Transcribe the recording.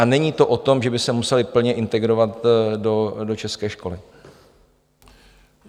A není to o tom, že by se musely plně integrovat do české školy.